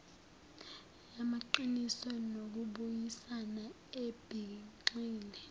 yamaqiniso nokubuyisana ebigxile